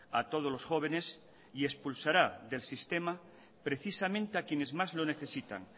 a todos los jóvenes y expulsará del sistema precisamente a quienes más lo necesitan